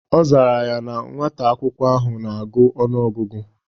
Ọ zara ya na nwata akwụkwọ ahụ na-agụ ọnụ ọgụgụ